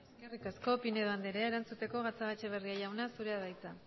besterik ez eskerrik asko pinedo andrea erantzuteko gatzagaetxebarria jauna zurea da hitza